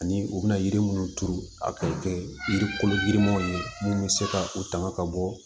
Ani u bɛna yiri minnu turu a bɛ kɛ yiri kolomaw ye mun bɛ se ka u tanga ka bɔ